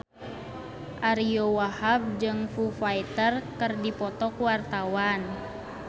Ariyo Wahab jeung Foo Fighter keur dipoto ku wartawan